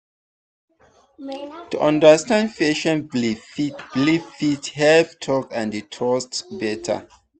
to understand patient belief fit belief fit help talk and trust better.